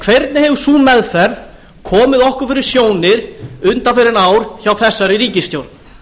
hvernig hefur sú meðferð komið okkur fyrir sjónir undanfarin ár hjá þessari ríkisstjórn